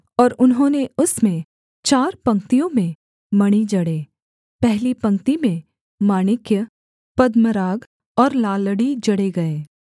और उन्होंने उसमें चार पंक्तियों में मणि जड़े पहली पंक्ति में माणिक्य पद्मराग और लालड़ी जड़े गए